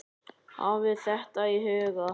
Hafið þetta í huga.